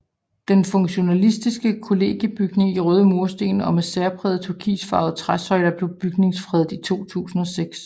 Den funktionalistiske kollegiebygning i røde mursten og med særprægede turkisfarvede træsøjler blev bygningsfredet i 2006